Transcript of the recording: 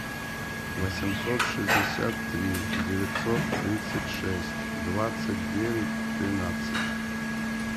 восемьсот шестьдесят три девятьсот тридцать шесть двадцать девять тринадцать